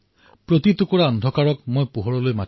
गीत आकाश को धरती का सुनाना है मुझे